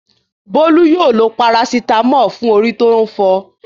Bólú yóò lo parasítámọ̀ fún orí tó ń fọ.